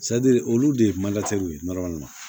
olu de ye ye